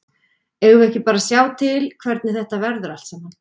Eigum við ekki bara að sjá til hvernig þetta verður allt saman.